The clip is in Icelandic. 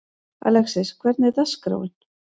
Alexis, hvernig er dagskráin?